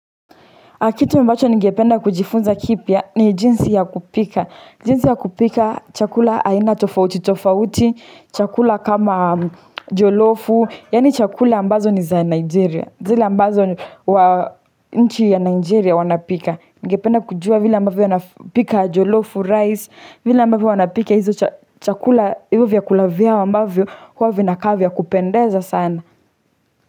Kitu ambacho ninge penda kujifunza kipya ni jinsi ya kupika, jinsi ya kupika chakula haina tofauti tofauti, chakula kama jolofu, yani chakula ambazo ni za Nigeria, zile ambazo wa nchi ya Nigeria wanapika. Nige penda kujua vile ambavyo wanapika jolofu, rice, vile ambavyo wanapika hizo chakula hivo vya kulavya ambavyo huwa vinakaa vya kupendeza sana.